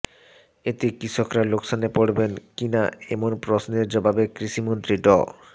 এতে কৃষকরা লোকসানে পড়বেন কিনা এমন প্রশ্নের জবাবে কৃষিমন্ত্রী ড